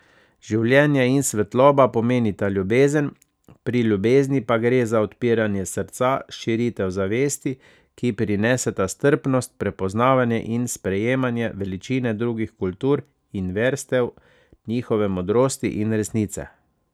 Življenje in svetloba pomenita ljubezen, pri ljubezni pa gre za odpiranje srca, širitev zavesti, ki prineseta strpnost, prepoznavanje in sprejemanje veličine drugih kultur in verstev, njihove modrosti in resnice.